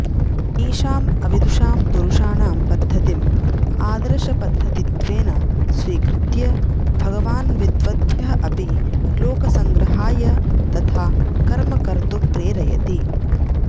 तेषाम् अविदुषां पुरुषाणां पद्धतिम् आदर्शपद्धतित्वेन स्वीकृत्य भगवान् विद्वद्भ्यः अपि लोकसङ्ग्रहाय तथा कर्म कर्तुं प्रेरयति